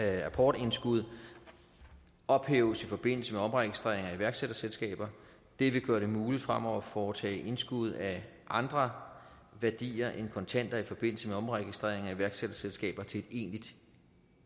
apportindskud ophæves i forbindelse med omregistrering af iværksætterselskaber det vil gøre det muligt fremover at foretage indskud af andre værdier end kontanter i forbindelse med omregistrering af iværksætterselskaber til et egentligt